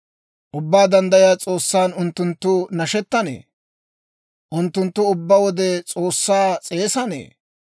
Ubbaa Danddayiyaa S'oossan unttunttu nashettanee? Unttunttu ubbaa wode S'oossaa s'eesanee?